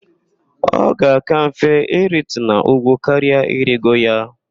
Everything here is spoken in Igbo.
Ọ ga-aka mfe iritu n'úgwú karỊa irigo ya.